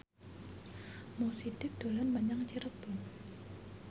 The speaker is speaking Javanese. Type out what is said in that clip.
Mo Sidik dolan menyang Cirebon